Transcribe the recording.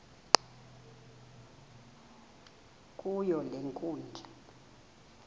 kuyo le nkundla